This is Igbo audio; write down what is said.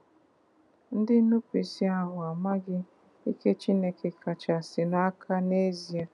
Ndị nnupụisi ahụ a maghị Ike Chineke kachasịnụ aka n'ezie.